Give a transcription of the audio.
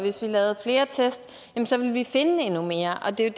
at hvis vi lavede flere test så ville vi finde endnu mere og det er